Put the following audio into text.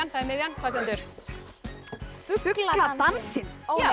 það er miðjan hvað stendur fugladansinn